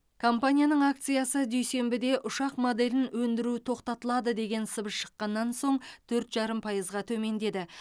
компанияның акциясы дүйсенбіде ұшақ моделін өндіру тоқтатылады деген сыбыс шыққаннан соң төрт жарым пайызға төмендеді